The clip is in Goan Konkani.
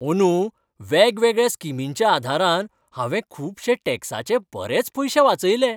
अंदू वेगवेगळ्या स्किमींच्या आदारान हांवें खुबशें टॅक्साचे बरेच पयशे वाचयले.